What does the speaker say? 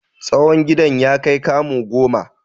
Tsawon gidan ya kai kamu goma.